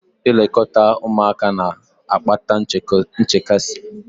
Ilekọta ụmụaka na-akpata nchekasị